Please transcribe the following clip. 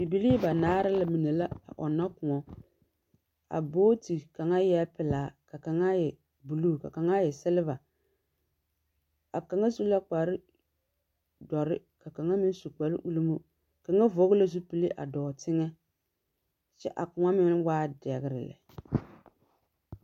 Bibilii banaare mine la a ɔnnɔ kõɔ. A booti kaŋa eɛɛ pelaa, ka kaŋa e buluu. Ka kaŋa e seleva. A kaŋa su la kparedɔrre ka kaŋa meŋ su kpare-ulimo. Kaŋa vɔge la zupili a dɔɔ teŋɛ kyɛ a kõɔ meŋa waaɛ dɛgre lɛ.